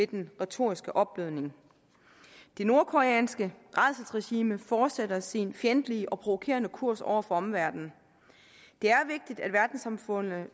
den retoriske opblødning det nordkoreanske rædselsregime fortsætter sin fjendtlige og provokerende kurs over for omverdenen det er vigtigt at verdenssamfundet